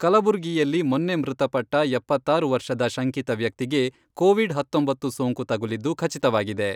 ಕಲಬುರ್ಗಿಯಲ್ಲಿ ಮೊನ್ನೆ ಮೃತಪಟ್ಟ ಎಪ್ಪತ್ತಾರು ವರ್ಷದ ಶಂಕಿತ ವ್ಯಕ್ತಿಗೆ, ಕೋವಿಡ್ ಹತ್ತೊಂಬತ್ತು ಸೋಂಕು ತಗುಲಿದ್ದು ಖಚಿತವಾಗಿದೆ.